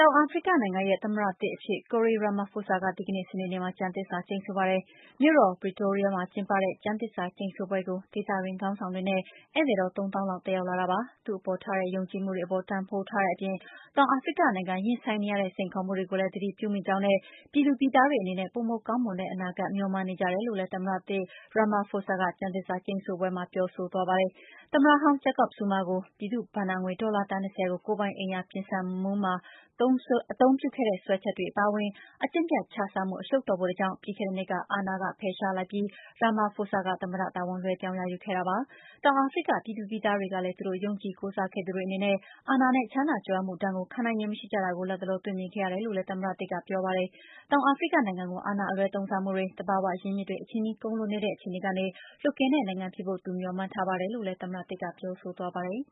ောင်အာဖရိကနိုင်ငံရဲ့ သမ္မတသစ်အဖြစ် Cyril Ramaphosa ဒီကနေ့ စနေနေ့မှာ ကျမ်းသစ္စာကျိန်ဆိုပါတယ်။ မြို့တော် Pretoria မှာကျင်းပတဲ့ ကျမ်းသစ္စာကျိန်ဆိုပွဲကို ဒေသတွင်းခေါင်းဆောင်တွေနဲ့ ဧည့်သည်တော် ၃ သောင်းလောက် တက်ရောက်လာတာပါ။ သူ့အပေါ် ထားတဲ့ ယုံကြည်မှုတွေအပေါ် တန်ဖိုးထားတဲ့အပြင် တောင်အာဖရိကနိုင်ငံ ရင်ဆိုင်နေရတဲ့ စိန်ခေါ်မှုတွေကိုလည်း သတိပြုမိကြောင်းနဲ့ ပြည်သူပြည်သားတွေအနေနဲ့ ပိုမိုကောင်းတဲ့ အနာဂတ် မျှော်မှန်းနေကြတယ်လို့လည်း သမ္မတသစ် Ramaphosa ကကျမ်းသစ္စာကျိန်ဆိုပွဲမှ ပြောဆိုသွားပါတယ်။ သမ္မတဟောင်း Jacob Zuma ကို ပြည်သူ့ဘဏ္ဍာငွေ ဒေါ်လာ သန်း ၂၀ ကို ကိုယ်ပိုင် အိမ်ယာပြင်ဆင်မွမ်းမံမှုမှာ အသုံးပြုခဲ့တဲ့ စွဲချက်အပါအဝင် အကျင့်ပျက်ခြစားမှု အရှုပ်တော်ပုံတွေကြောင့် ပြီးခဲ့တဲ့နှစ်က အာဏာက ဖယ်ရှားလိုက်ပြီး Ramaphosa က သမ္မတတာဝန် လွှဲပြောင်းရယူခဲ့တာပါ။ တောင်အာဖရိက ပြည်သူပြည်သားတွေကလည်း သူတို့ ယုံကြည်ကိုးစားခဲ့တဲ့သူတွေအနေနဲ့ အာဏာနဲ့ ချမ်းသာကြွယ်ဝမှုဒဏ်ကို ခံနိုင်ရည် မရှိကြတာကို လတ်တလော တွေ့မြင်ခဲ့ရတယ်လို့လည်း သမ္မတသစ် Ramaphosa ကပြောပါတယ်။ တောင်အာဖရိကနိုင်ငံကို အာဏာအလွှဲသုံးစားမှုတွေ၊ သဘာဝရင်းမြစ်တွေ အချည်းနှီး ကုန်လွန်နေတဲ့အခြေအနေက လွတ်ကင်းတဲ့ နိုင်ငံဖြစ်ဖို့ သူမျှော်မှန်းထားပါတယ်လို့လည်း သမ္မတသစ် ကပြောဆိုပါတယ်